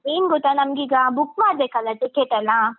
ಏನ್ ಗೊತ್ತಾ ನಮ್ಗೀಗ book ಮಾಡ್ಬೇಕಲ್ಲ ticket ಅನ್ನ.